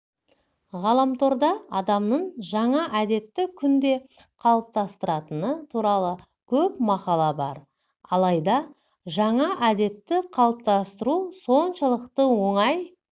ғаламторда адамның жаңа әдетті күнде қалыптастыратыны туралы көп мақала бар алайда жаңа әдетті қалыптастыру соншалықты оңай